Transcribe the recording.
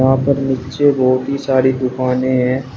वहां पर नीचे बहोत ही सारी दुकानें हैं।